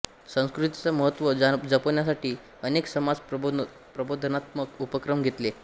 संस्कृतीचा महत्त्व जपण्यासाठी अनेक समाज प्रबोधनात्मक उपक्रम घेतले